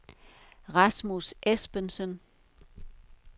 Rasmus Esbensen